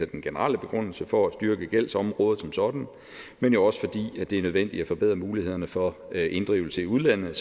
den generelle begrundelse altså for at styrke gældsområdet som sådan men jo også fordi det er nødvendigt at forbedre mulighederne for inddrivelse i udlandet